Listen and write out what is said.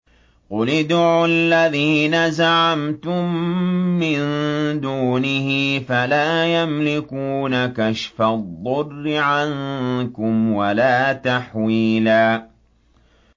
قُلِ ادْعُوا الَّذِينَ زَعَمْتُم مِّن دُونِهِ فَلَا يَمْلِكُونَ كَشْفَ الضُّرِّ عَنكُمْ وَلَا تَحْوِيلًا